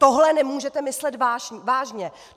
Tohle nemůžete myslet vážně!